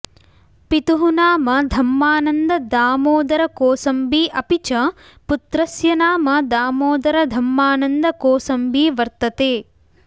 पितुः नाम धम्मानन्ददामोदरकोसम्बी अपि च पुत्रास्य नाम दामोदरधम्मानन्दकोसम्बी वर्तते